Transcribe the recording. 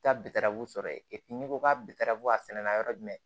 Taa bitaraw sɔrɔ yen n'i ko k'a bi taara ko a sɛnɛ na yɔrɔ jumɛn